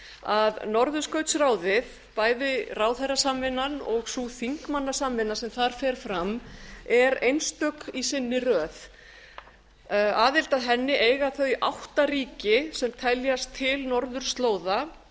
að norðurskautsráðið bæði ráðherrasamvinnan og sú þingmannasamvinna sem þar fer fram er einstök í sinni röð aðild að henni eiga þau átta ríki sem teljast til norðurslóða það